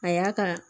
A y'a ka